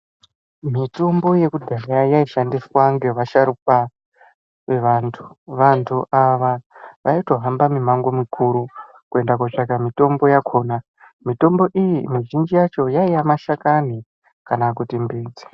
Mitombo yekudhaya yaishandiswa ngevasharukwa vevantu. Vantu ava vaitohamba mimango mikuru kuenda kootsvaka mitombo yakona. Mitombo iyi mizhinji yacho yaiya mashakani kana kuti mbidzi.